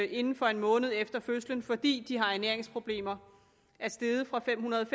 inden for en måned efter fødslen fordi de har ernæringsproblemer er steget fra fem hundrede og